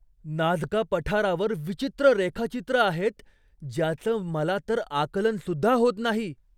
Nazca पठारावर विचित्र रेखाचित्रं आहेत ज्याचं मला तर आकलन सुद्धा होत नाही!